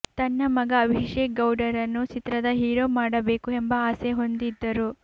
ತನ್ನ ಮಗ ಅಭೀಷೇಕ್ ಗೌಡರನ್ನು ಚಿತ್ರದ ಹೀರೋ ಮಾಡಬೇಕು ಎಂಬ ಆಸೆ ಹೊಂದಿದ್ದರು